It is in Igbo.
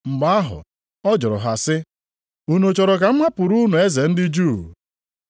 Mgbe ahụ ọ jụrụ ha sị, “Unu chọrọ ka m hapụrụ unu eze ndị Juu?”